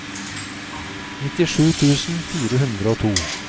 nittisju tusen fire hundre og to